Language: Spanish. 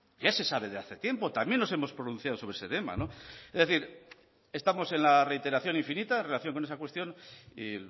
ya se sabe de hace tiempo también nos hemos pronunciado sobre ese tema es decir estamos en la reiteración infinita en relación con esa cuestión y